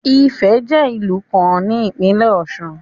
Ifẹ̀ jẹ́ ìlú kan ní ìpínlẹ̀ Ọ̀ṣun.